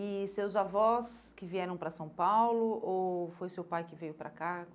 E seus avós que vieram para São Paulo, ou foi seu pai que veio para cá?